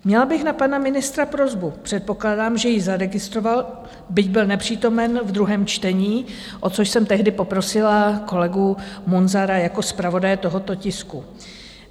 Měla bych na pana ministra prosbu, předpokládám, že ji zaregistroval, byť byl nepřítomen v druhém čtení, o což jsem tehdy poprosila kolegu Munzara jako zpravodaje tohoto tisku.